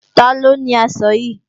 Taló ni aṣọ yìí?